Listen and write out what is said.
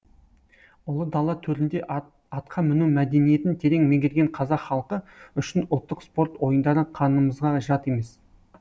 ұлы дала төрінде атқа міну мәдениетін терең меңгерген қазақ халқы үшін ұлттық спорт ойындары қанымызға жат емес